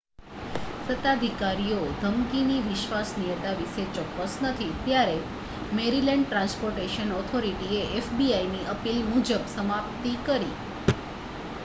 સત્તાધિકારીઓ ધમકીની વિશ્વસનીયતા વિશે ચોક્કસ નથી ત્યારે મૅરિલૅન્ડ ટ્રાન્સ્પોર્ટેશન ઑથોરિટીએ fbiની અપીલ મુજબ સમાપ્તિ કરી